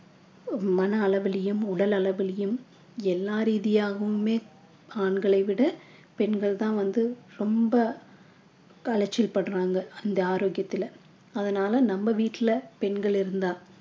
மன அளவிலும் உடலளவிலும் எல்லா ரீதியாகவுமே ஆண்களை விட பெண்கள் தான் வந்து ரொம்ப அலச்சல் படுறாங்க அந்த ஆரோக்கியத்தில அதனால நம்ம வீட்டில பெண்கள இருந்தா